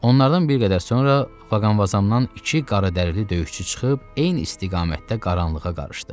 Onlardan bir qədər sonra Faqanvazamdan iki qaradərili döyüşçü çıxıb, eyni istiqamətdə qaranlığa qarışdı.